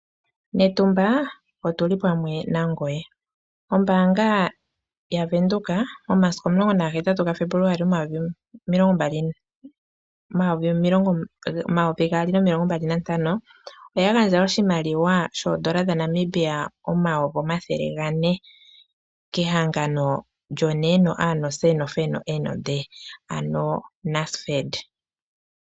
Metumba otuli pamwe nangoye. Ombaanga yaVenduka momasiku omulongo nagahetatu gaFebuluwali, omayovi gaali nomilongo mbali nantano, oya gandja oshimaliwa shoodola dhaNamibia omayovi omathele gane kehangano lyoNASFED.